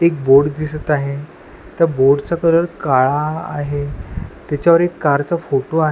एक बोर्ड दिसत आहे त्या बोर्ड चा कलर काळा आहे त्याच्यावर एक कारचा फोटो आहे.